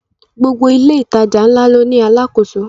Gbogbo ilé ìtajà ńlá ló ní àlákoso